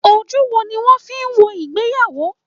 Ojú wo ni wọ́n fi ń wo ìgbéyàwó?